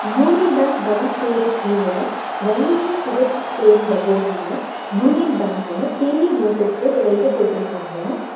Union bank Bhavan பேரு கீழ வெள்ளையு சிவப்பு சேர்ந்த போடுல யூனியன் பேங்க்னு பெரிய நோட்டிஸ் போட் ரெண்டு போட்ருக்காங்க.